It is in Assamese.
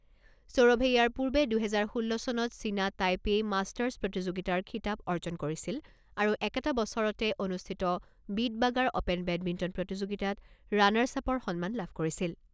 সৌৰভে ইয়াৰ পূৰ্বে দুহেজাৰ ষোল্ল চনত চীনা টাইপেই মাষ্টাৰ্ছ প্ৰতিযোগিতাৰ খিতাপ অৰ্জন কৰিছিল আৰু একেটা বছৰতে অনুষ্ঠিত বিটবাগাৰ অপেন বেডমিণ্টন প্ৰতিযোগিতাত ৰাণাৰ্ছ আপৰ সন্মান লাভ কৰিছিল।